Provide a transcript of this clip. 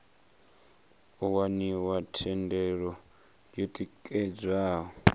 u waniwa thendelo yo tikedzwaho